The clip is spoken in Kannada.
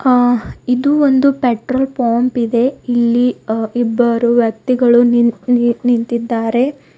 ಆ ಇದು ಒಂದು ಪೆಟ್ರೋಲ್ ಪಂಪ್ ಇದೆ ಇಲ್ಲಿ ಅ ಇಬ್ಬರು ವ್ಯಕ್ತಿಗಳು ನೀ ನೀ ನಿಂತಿದ್ದಾರೆ.